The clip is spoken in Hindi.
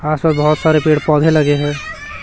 आस पास बहुत सारे पेड़ पौधे लगे हैं।